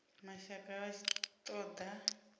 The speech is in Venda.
mashaka vha tshi ṱo ḓa